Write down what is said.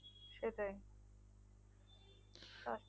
সেটাই